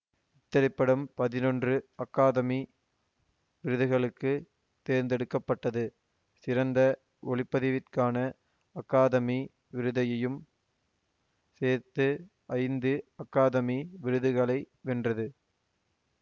இத்திரைப்படம் பதினொன்று அகாதமி விருதுகளுக்கு தேர்ந்தெடுக்க பட்டது சிறந்த ஒளிப்பதிவிற்கான அகாதமி விருதையும் சேர்த்து ஐந்து அகாதமி விருதுகளை வென்றது